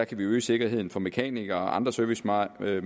vi øge sikkerheden for mekanikere og andre servicemedarbejdere